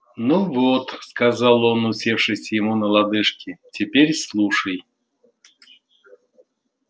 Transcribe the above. ну вот сказал он усевшись ему на лодыжки теперь слушай